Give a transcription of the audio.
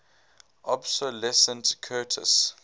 obsolescent curtiss